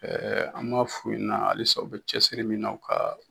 an b'a f'u ɲɛna halisa u bɛ cɛsiri min na u ka